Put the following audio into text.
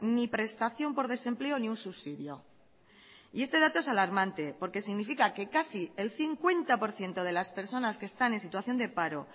ni prestación por desempleo ni un subsidio y este dato es alarmante porque significa que casi el cincuenta por ciento de las personas que están en situación de paro